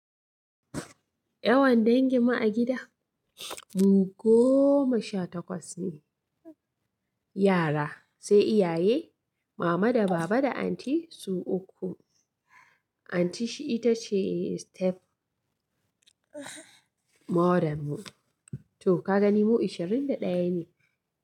Yawan danginmu a gida, mu goma sha takwas ne. Yara, sai iyaye, mama da baba da anti su uku. Anti ita ce step mother mu. To, ka gani mu ashirin da ɗaya ne.